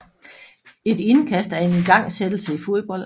Et indkast er en igangsættelse i fodbold